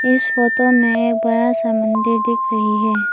इस फोटो में बड़ा सा मंदिर दिख रही है।